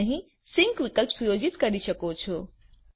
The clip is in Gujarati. તમે અહીં સિંક વિકલ્પ સુયોજિત કરી શકો છો